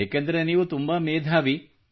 ಏಕೆಂದರೆ ನೀವು ತುಂಬಾ ಮೇಧಾವಿ